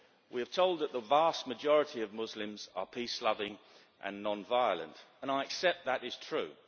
We are told that the vast majority of Muslims are peace loving and non violent, and I accept that is true.